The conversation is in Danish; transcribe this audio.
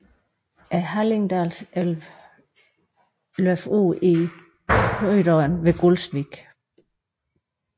Hallingdalselven løber ude i Krøderen ved Gulsvik